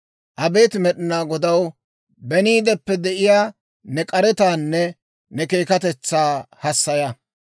Abeet Med'inaa Godaw, beniideppe de'iyaa ne k'aretaanne ne keekatetsaa hassaya.